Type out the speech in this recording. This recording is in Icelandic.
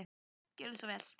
Gjörðu svo vel.